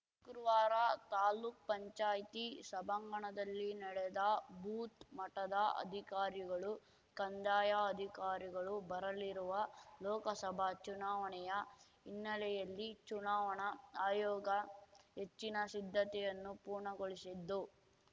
ಶುಕ್ರವಾರ ತಾಲೂಕ್ ಪಂಚಾಯ್ತಿ ಸಭಾಂಗಣದಲ್ಲಿ ನಡೆದ ಭೂತ್‌ ಮಟ್ಟದ ಅಧಿಕಾರಿಗಳು ಕಂದಾಯ ಅಧಿಕಾರಿಗಳು ಬರಲಿರುವ ಲೋಕಸಭಾ ಚುನಾವಣೆಯ ಹಿನ್ನೆಲೆಯಲ್ಲಿ ಚುನಾವಣಾ ಆಯೋಗ ಹೆಚ್ಚಿನ ಸಿದ್ಧತೆಯನ್ನು ಪೂರ್ಣಗೊಳಿಸಿದ್ದು